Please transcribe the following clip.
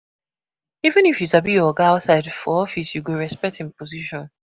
Even if you sabi your oga outside, for office you go respect im position.